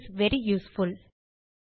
it is very useful